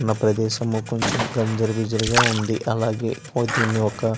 ఇక్క్కడ ఉన్న ప్రదేశము కొంచం గంజర బింజరగా ఉంది అలాగే దీన్ని ఒక --